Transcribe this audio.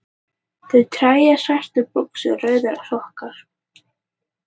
Rauð treyja, Svartar buxur, Rauðir sokkar